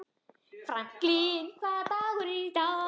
Franklin, hvaða dagur er í dag?